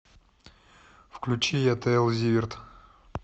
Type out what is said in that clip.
включи ятл зиверт